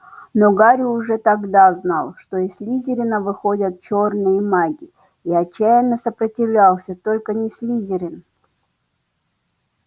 но гарри уже тогда знал из слизерина выходят чёрные маги и отчаянно сопротивлялся только не слизерин